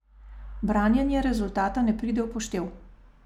Branjenje rezultata ne pride v poštev.